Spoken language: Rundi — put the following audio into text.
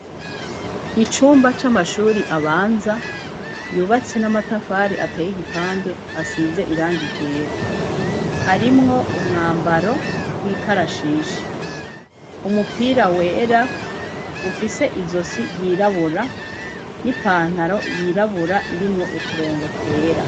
Icumba c'amashure abanza yubatse n'amatafari ateye igipande asize irangi ryera. Harimwo umwambaro w'ikarashishi. Umupira wera ufise izosi ryirabura n'ipantaro yirabura irimwo uturongo twera.